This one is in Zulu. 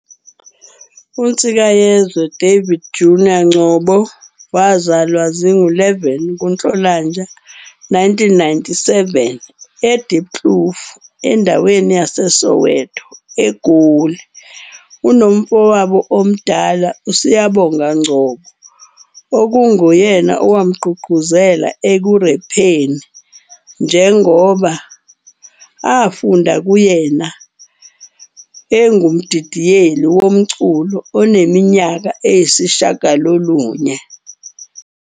UNsikayesizwe David Junior Ngcobo wazalwa zi-11 kuNhlolanja 1997 e- Diepkloof, endaweni yaseSoweto, eGoli. Unomfowabo omdala, uSiyabonga Ngcobo, okunguyena owamgqugquzela ekurepheni njengoba afunda kuyena adidiyelwe wumculo eneminyaka eyisishiyagalolunye.